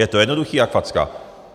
Je to jednoduchý jak facka.